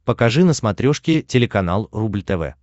покажи на смотрешке телеканал рубль тв